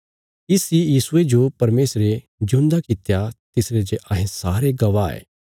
इस इ यीशुये जो परमेशरे जिऊंदा कित्या तिसरे जे अहें सारे गवाह ये